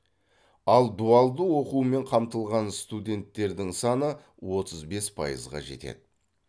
ал дуалды оқумен қамтылған студенттердің саны отыз бес пайызға жетеді